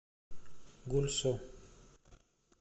гульсу